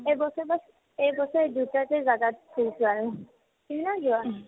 এইবছৰ বচ এইবছৰ দুটাকে জাগাত ফুৰিছো আৰু উম্হ্